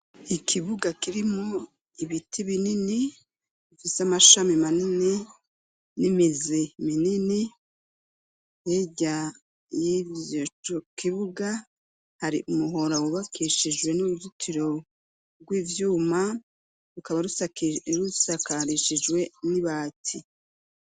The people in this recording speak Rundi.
Ikibuga kirimwo ibiti binini ifise amashami manini n'imizi minini hirya yivyo, yico kibuga hari umuhora wubakishijwe n'uruzitiro rwivyuma rukaba rusakarishijwe n'ibati.